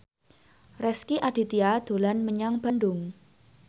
Rezky Aditya dolan menyang Bandung